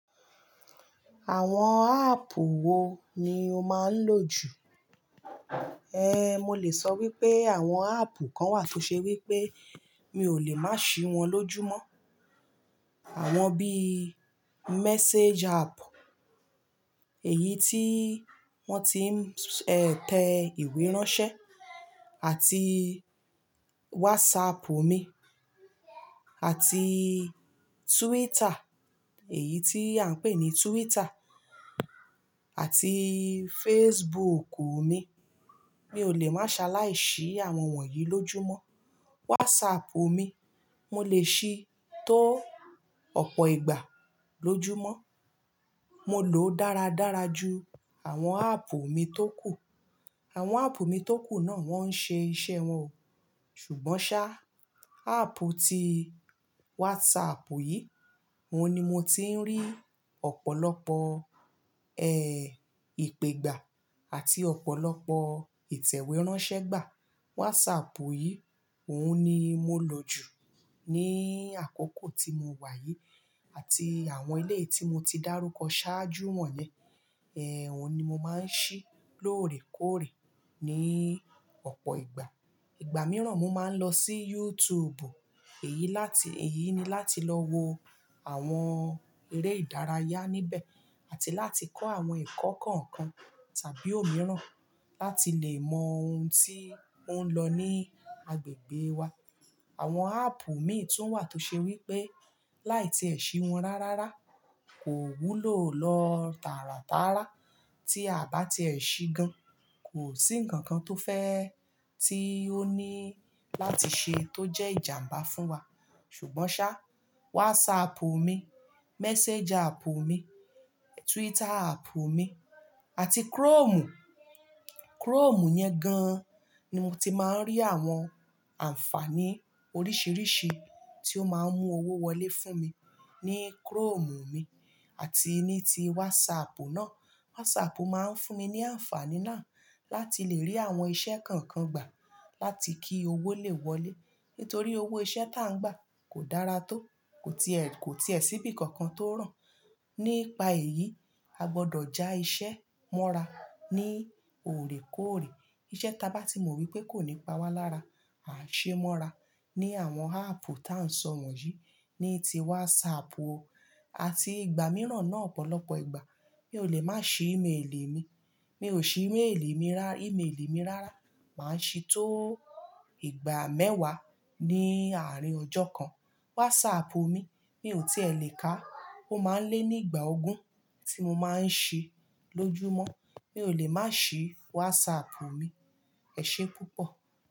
Àwọn áàpù wo ni o máa ń lò jù? Ehn, mo lè sọ wípé àwọn áàpù kan wà tó ṣe wípé mi ò lè má ṣí wọn lójúmọ́. Àwọn bí Message app, èyí tí wọ́n ti ń tẹ ìwé ránṣẹ́ àti WhatsAppu mi àti Twitter, èyí tí à ń pè ní Twitter àti Facebook mi. Mi ò lè máa ṣaláì sí àwọn wọ̀nyí lójúmọ́. WhatsApp mi, mo lè ṣí tó ọ̀pọ̀ ìgbà lójúmọ́. Mo lòó dára dára ju àwọn áàpù mi tókù. Àwọn áàpù mi tókù náà wọ́n ń ṣe iṣẹ́ wọn o, ṣùgbọ́n sá, áàpù tí WhatsApp yìí, òun ni mo ti ń rí ọ̀pọ̀lọpọ̀ eh ìpe gbà àti ọ̀pọ̀lọpọ̀ ìtẹ̀wé ránṣẹ́ gbà. WhatsApp yìí, òun ni mo lò jù ní àkókò tí mo wà yìí àti àwọn iléyi tí mo ti dárúkọ ṣáájú won ye, eh òun ni mo máa ń ṣí lóòrèkóòrè ní ọ̀pọ̀ ìgbà. Ìgbà mìíràn mo máa ń lọ sí YouTube, èyí láti, èyí ni láti lọ wo àwọn eré ìdárayá níbẹ̀ àti láti kọ́ àwọn ẹ̀kọ́ kọ̀ọ̀kan tàbí òmíràn láti lè mọ ohun tí ó ń lọ ní agbègbè wa. Àwọn áàpù mìí tun wà tó ṣe wípé láì tí ẹ sì wọn rárára kò wúlò lọ tàràtàrà tí a bá ti ẹ ṣí gan. Kò sí ǹkan kan tó fẹ́ tí ó ní láti ṣe tó jẹ́ ìjàmbá fún wa. Ṣùgbọ́n sá, WhatsAppu mi, Message àppù mi, Twitter àppù mi àti Chromu. Chromu yẹn gan ni mo ti máa ń rí àwọn àǹfààní oríṣìíríṣìí tí ó máa ń mú owó wọlé fún mi ní Chromu mi àti ní ti WhatsAppu náà. WhatsApp máa ń fún mi ní àǹfààní náà láti lè rí àwọn iṣẹ́ kọ̀ọ̀kan gbà láti kí owó lè wọlé. Nítorí owó iṣẹ́ tá ń gbà kò dára tó, kò tiẹ̀, kò tiẹ̀ sí bí kankan tó ràn. Nípa èyí, a gbọdọ̀ já iṣẹ́ mọ́ra ní òrèkóòrè. Iṣẹ́ taba tí mo rí pé kò ní pawa lára, à ń ṣe mọ́ra ní àwọn áàpù tá ń sọ wọ̀nyí, ní ti WhatsApp o àti ìgbà mìíràn náà ọ̀pọ̀lọpọ̀ ìgbà. Mi ò lè má ṣí ímélì mi, mi ò ṣí ímélì mi rá, ímélì mi rárá, màá ṣí tó ìgbà mẹ́wàá ní àárín ọjọ́ kan. WhatsAppu mi, mi ò tí è lé ká, ó máa ń lé ní ìgbà ogún tí mo máa ń ṣí lójúmọ́. Mi ò lè má ṣí WhatsApp mi. Ẹ̀ ṣe púpọ̀.